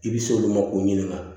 I bi s'olu ma k'u ɲininka